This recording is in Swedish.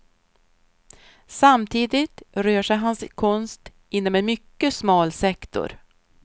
Samtidigt rör sig hans konst inom en mycket smal sektor.